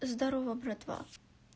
здорово братва